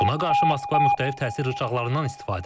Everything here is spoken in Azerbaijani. Buna qarşı Moskva müxtəlif təsir rıçaqlarından istifadə edir.